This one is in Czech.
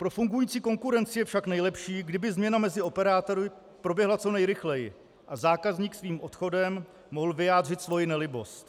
Pro fungující konkurenci je však nejlepší, kdyby změna mezi operátory proběhla co nejrychleji a zákazník svým odchodem mohl vyjádřit svoji nelibost.